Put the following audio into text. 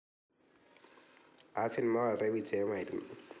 ആ സിനിമ വളരെ വിജയമായിരുന്നു.